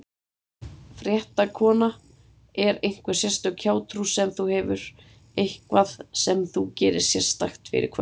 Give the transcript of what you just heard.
Fréttakona: Er einhver sérstök hjátrú sem þú hefur, eitthvað sem þú gerir sérstakt fyrir kvöldið?